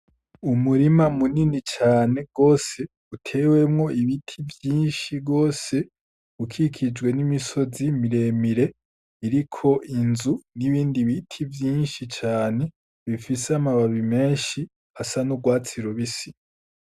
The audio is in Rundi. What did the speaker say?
Umurima munini cane gose, utewemwo ibiti vyinshi gose, ukikijwe n'imisozi mire mire iriko inzu n'ibindi biti vyinshi cane bifise amababi menshi asa n'urwatsi rubisi.